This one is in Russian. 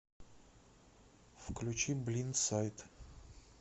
включи блиндсайд